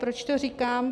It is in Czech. Proč to říkám?